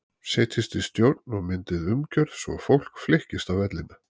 Setjist í stjórn og myndið umgjörð svo fólk flykkist á vellina.